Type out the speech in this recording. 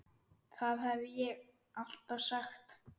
Það hef ég alltaf sagt.